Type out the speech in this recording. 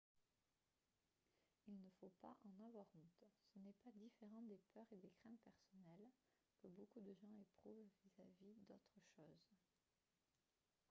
il ne faut pas en avoir honte ce n'est pas différent des peurs et des craintes personnelles que beaucoup de gens éprouvent vis-à-vis d'autres choses